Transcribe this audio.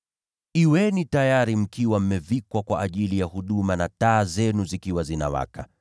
“Kuweni tayari mkiwa mmevikwa kwa ajili ya huduma na taa zenu zikiwa zinawaka,